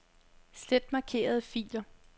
Slet markerede filer.